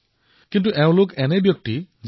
গুজৰাটৰ আব্দুল গফুৰ খট্ৰিৰ কথাকেই ধৰক